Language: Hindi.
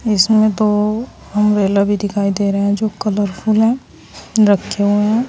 इसमें तो अंब्रेला भी दिखाई दे रहा हैं जो कलरफुल है रखे हुए हैं।